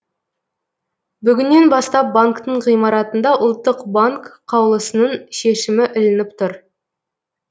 бүгіннен бастап банктің ғимараттарында ұлттық банк қаулысының шешімі ілініп тұр